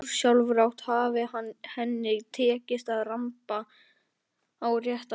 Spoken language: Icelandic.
Ósjálfrátt hafi henni tekist að ramba á réttan stað.